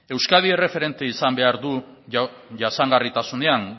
euskadi erreferente izan behar du jasangarritasunean